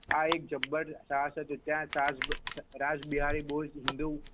આ એક જબ્બર રાજ બિહારી બો જ હિન્દુ.